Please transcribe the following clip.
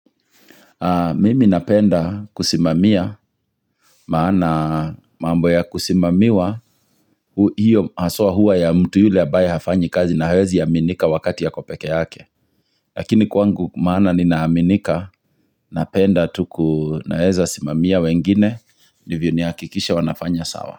Mimi napenda kusimamia maana mambo ya kusimamiwa hiyo haswa huwa ya mtu yule ambaye hafanyi kazi na hawezi aminika wakati ako peke yake Lakini kwangu maana ninaaminika napenda tu ku naweza simamia wengine Ndivyo ni hakikishe wanafanya sawa.